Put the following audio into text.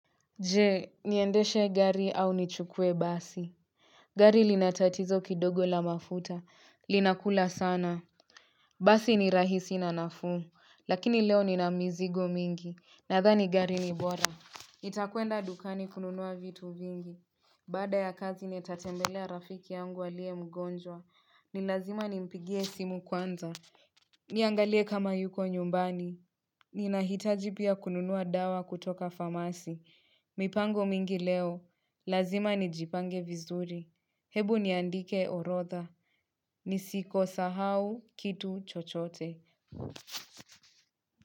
Je niendeshe gari au nichukue basi gari linatatizo kidogo la mafuta linakula sana Basi ni rahisi na nafuu lakini leo ni na mizigo mingi nadhani gari ni bora nitakwenda dukani kununua vitu vingi Baada ya kazi nitatembelea rafiki yangu aliye mgonjwa ni lazima nimpigie simu kwanza Niangalie kama yuko nyumbani Nina hitaji pia kununua dawa kutoka pharmacy. Mipango mingi leo. Lazima nijipange vizuri. Hebu niandike orodha. Nisiko sahau kitu chochote.